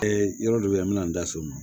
yɔrɔ dɔ bɛ yen an bɛ na n da so ma